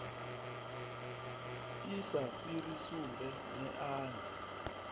i sa fhiri sumbe neani